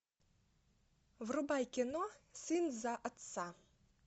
врубай кино сын за отца